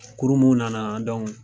Kuru mun nana